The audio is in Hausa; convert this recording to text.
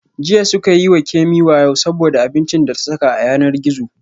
Jiya suka yi wa Kemi wayo saboda abincin da ta saka a yanar gizo